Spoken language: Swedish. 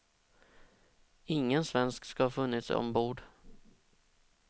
Ingen svensk ska ha funnits ombord.